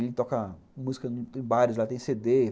Ele toca música em bares, lá tem cê dê